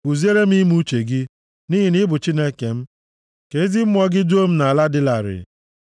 Kuziere m ime uche gị, nʼihi na ị bụ Chineke m; ka ezi Mmụọ gị duo m nʼala dị larịị.